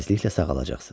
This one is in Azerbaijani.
Tezliklə sağalacaqsan.